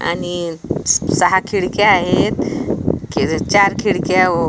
आणि सहा खिडक्या आहेत चार खिडक्या ओ --